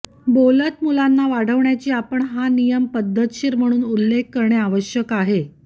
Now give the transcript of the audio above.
बोलत मुलांना वाढवण्याची आपण हा नियम पद्धतशीर म्हणून उल्लेख करणे आवश्यक आहे